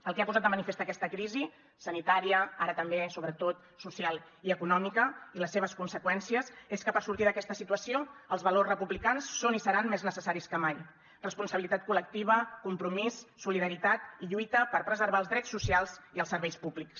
el que ha posat de manifest aquesta crisi sanitària ara també sobretot social i econòmica i les seves conseqüències és que per sortir d’aquesta situació els valors republicans són i seran més necessaris que mai responsabilitat col·lectiva compromís solidaritat i lluita per preservar els drets socials i els serveis públics